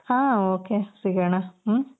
ಹಾ ok ಸಿಗಣ ಹ್ಮ್ಮ್